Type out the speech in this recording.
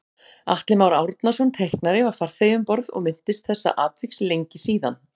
Atli Már Árnason teiknari var farþegi um borð og minntist þessa atviks lengi síðan